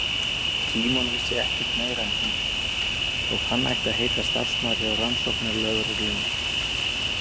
Símon vissi ekkert meira en hún, þótt hann ætti að heita starfsmaður hjá rannsóknarlögreglunni.